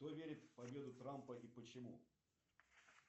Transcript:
кто верит в победу трампа и почему